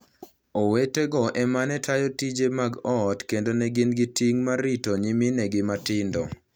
Owetego e ma ne tayo tije mag ot kendo ne gin gi ting' mar rito nyiminegi matindo.